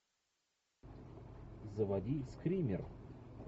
заводи скример